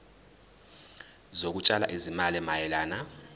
zokutshala izimali mayelana